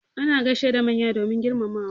Ana gaishe da manya domin girmamawa.